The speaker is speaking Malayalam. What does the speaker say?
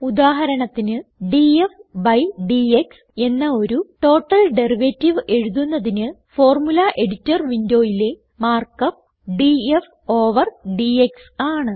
ഉദാഹരണത്തിന് ഡിഎഫ് ബി ഡിഎക്സ് എന്ന ഒരു ടോട്ടൽ ഡെറിവേറ്റീവ് എഴുതുന്നതിന് ഫോർമുല എഡിറ്റർ വിൻഡോയിലെ mark up D F over D X ആണ്